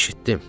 Eşitdim.